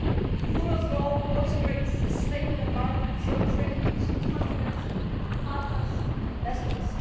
The rule of law also brings the stable environment so critical to the confidence of partners and investors.